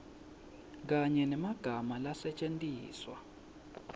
kanye nemagama lasetjentiswa